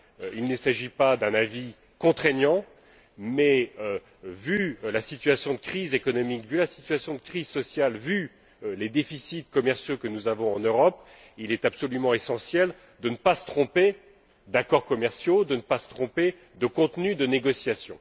Il ne s'agit pas d'un avis contraignant mais, vu la situation de crise économique, vu la situation de crise sociale, vu les déficits commerciaux que nous avons en Europe, il est absolument essentiel de ne pas se tromper d'accords commerciaux, de ne pas se tromper de contenu de négociation.